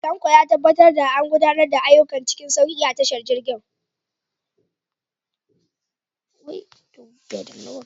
Tanko ya tabbatar da an gudanar da ayyuka cikin sauki a tashar jirgin.